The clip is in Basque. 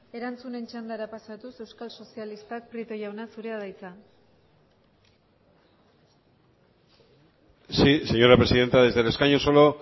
erantzunen txandara pasatuz euskal sozialistak prieto jauna zurea da hitza sí señora presidenta desde el escaño solo